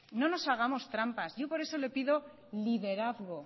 no nos hagamos trampas yo por eso le pido liderazgo